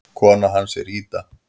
Kona hans er Ida.